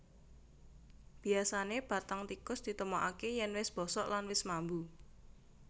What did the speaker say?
Biyasané bathang tikus ditemokaké yèn wis bosok lan wis mambu